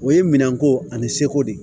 O ye minɛn ko ani seko de ye